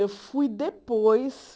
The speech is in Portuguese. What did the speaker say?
Eu fui depois.